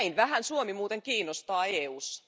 Näin vähän Suomi muuten kiinnostaa EUssa.